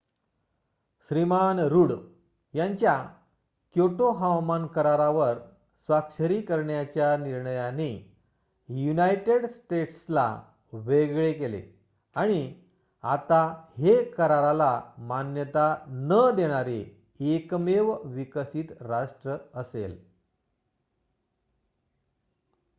श्रीमान Rudd यांच्या Kyoto हवामान करारावर स्वाक्षरी करण्याच्या निर्णयाने युनायटेड स्टेट्सला वेगळे केले आणि आता हे कराराला मान्यता न देणारे एकमेव विकसित राष्ट्र असेल